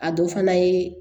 A dɔ fana ye